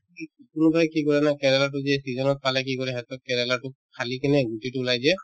কোনোবাই কি কৰে জানা কেৰেলাতো যি season ত পালে কি কৰে সিহঁতৰ কেৰেলাতো ফালি কিনে গুটিতো ওলাই দিয়ে